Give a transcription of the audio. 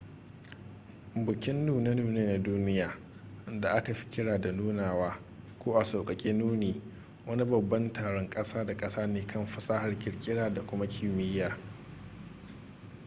bukin nune-nune na duniya da aka fi kira da nunawa ko a sauƙaƙe nuni wani babban taron ƙasa da ƙasa ne kan fasahar ƙirƙira da kuma kimiyya